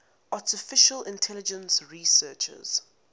artificial intelligence researchers